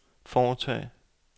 foretage